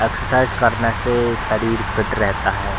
Exercise करने से शरीर फिट रहता है।